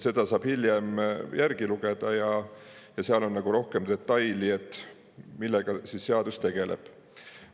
Seda saab hiljem järgi lugeda ja seal on rohkem detaile sellest, millega see seadus tegeleb.